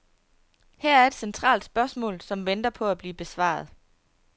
Her er et centralt spørgsmål, som venter på at blive besvaret.